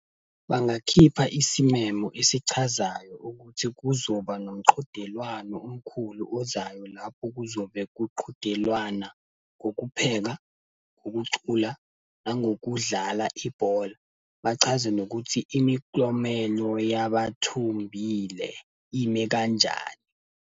Bangakhipha isimemo esichazayo ukuthi kuzoba nomqhudelwano omkhulu ozayo lapho kuzobe kuqhudelwana ngokupheka, ukucula, nangokudlala ibhola. Bachaze nokuthi imiklomelo yabathumbile ime kanjani.